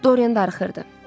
Dorian darıxırdı.